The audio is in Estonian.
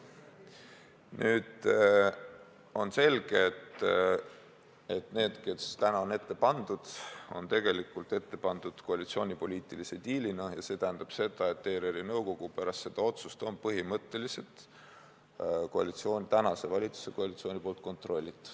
Nüüd on selge, et need, kes täna on ette pandud, on tegelikult ette pandud koalitsiooni poliitilise diilina, ja see tähendab seda, et ERR-i nõukogu pärast seda otsust on põhimõtteliselt tänase valitsuskoalitsiooni kontrollitav.